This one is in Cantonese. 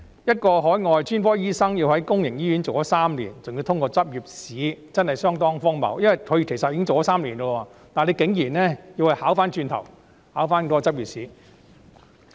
一名海外專科醫生要在公營醫院工作3年，還要通過執業資格試，真是相當荒謬，因為他其實已工作3年，但竟然要他回頭考執業資格試。